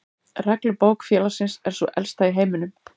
Reglubók félagsins er sú elsta í heiminum.